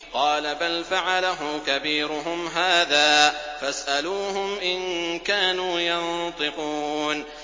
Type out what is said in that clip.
قَالَ بَلْ فَعَلَهُ كَبِيرُهُمْ هَٰذَا فَاسْأَلُوهُمْ إِن كَانُوا يَنطِقُونَ